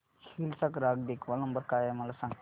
hills चा ग्राहक देखभाल नंबर काय आहे मला सांग